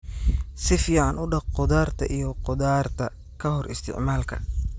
Si fiican u dhaq khudaarta iyo khudaarta ka hor isticmaalka.